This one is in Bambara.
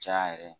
Caya yɛrɛ